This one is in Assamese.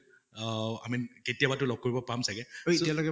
আহ i mean কেতিয়াবাতো লগ কৰিব পাম চাগে এতিয়ালৈকে